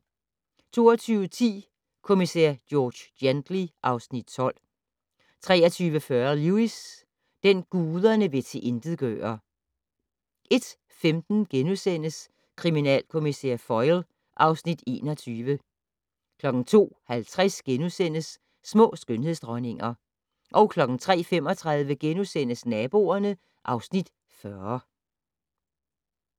22:10: Kommissær George Gently (Afs. 12) 23:40: Lewis: Den, guderne vil tilintetgøre 01:15: Kriminalkommissær Foyle (Afs. 21)* 02:50: Små skønhedsdronninger * 03:35: Naboerne (Afs. 40)*